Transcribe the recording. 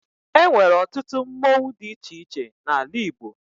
E nwere ọtụtụ mmonwu dị iche iche n'ala Igbo